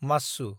माच्छु